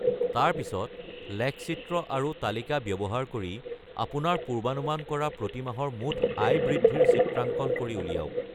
তাৰ পিছত, লেখচিত্ৰ আৰু তালিকা ব্যৱহাৰ কৰি আপোনাৰ পূৰ্বানুমান কৰা প্ৰতিমাহৰ মুঠ আয় বৃদ্ধিৰ চিত্ৰাঙ্কন কৰি উলিয়াওক।